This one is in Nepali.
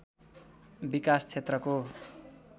विकास क्षेत्रको